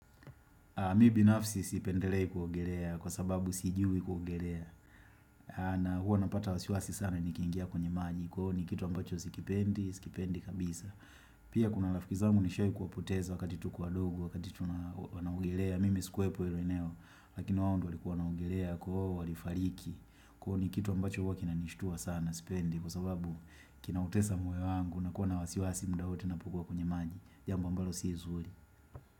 Mi binafsi sipendelei kuogelea kwa sababu sijui kuogelea na huwa napata wasiwasi sana nikiingia kwenye maji kwa uo ni kitu ambacho sikipendi, sikipendi kabisa. Pia kuna rafiki zangu nishai kuwapoteza wakati tu kiwa wadogo, wakati tu wana ogelea, mimi sikuwa po ilo eneo lakini waondo wali kuwa na ogelea kwa uo wali fariki kwa uo ni kitu ambacho huwa kina nishitua sana sipendi kwa sababu kina utesa moyo wangu na kuwa na wasiwasi mda wote napokuwa kwenye maji. Jambo ambalo siizuri.